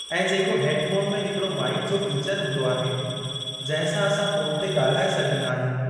ऐं जेको हेडफ़ोन में हिकिड़ो माइक जो फीचर हूंदो आहे जिंहिं सां असां फ़ोन ते ॻाल्हाए सघंदा आहियूं।